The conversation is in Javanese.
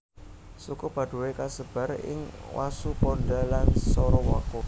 Suku Padoe kasebar ing Wasuponda lan Sorowako